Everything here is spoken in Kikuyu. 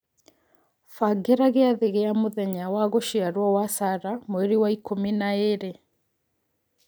bagĩra giathĩ gia mũthenya wa gũciarwo wa Sarah Mweri wa ikũmi na ĩĩrĩ